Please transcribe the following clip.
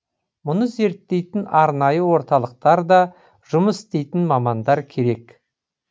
мұны зерттейтін арнайы орталықтар да жұмыс істейтін мамандар керек